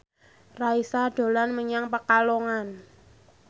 Raisa dolan menyang Pekalongan